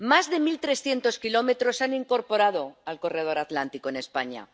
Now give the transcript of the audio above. Más de mil trescientos kilómetros se han incorporado al corredor atlántico en España.